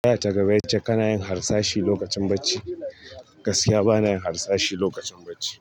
Tambaya ta gaba ya ce ka na yin harsashi lokacin bacci, gaskiya bana yin harsashi lokacin bacci.